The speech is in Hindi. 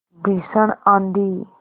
भीषण आँधी